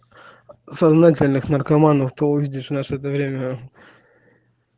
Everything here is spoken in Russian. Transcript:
сознательных наркоманов ты увидишь в наше то время